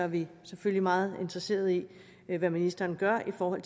vi selvfølgelig meget interesseret i hvad ministeren gør for